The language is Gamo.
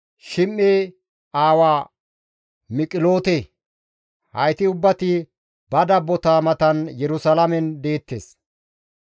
Shime7e aawa Miqiloote; hayti ubbati ba dabbota matan Yerusalaamen deettes.